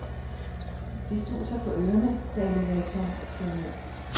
Det suser for ørerne, da elevatoren kører ned.